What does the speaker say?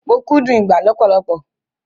Mo kúndùn ìgbá lọpọlọpọ